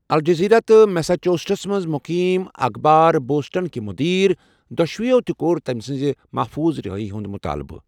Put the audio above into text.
Al Jazeera تہٕ Massachusetts منٛز مقیم اخبار بوسٹنٕکہِ مٗدیر ، دۄشوٕٮ۪و تہِ کوٚر تمہِ سٕنٛزِ محفوٗظ رہٲیی ہُنٛد مطٲلبہٕ۔